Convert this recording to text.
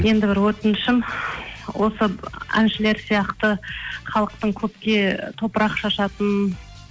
енді бір өтінішім осы әншілер сияқты халықтың көпке топырақ шашатын